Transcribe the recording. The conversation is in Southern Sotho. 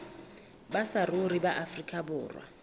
ba saruri ba afrika borwa